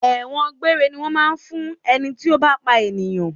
Ẹ̀wọ̀n gbére ni wọn máa ń fún ẹni tí ó bá pa ènìyàn.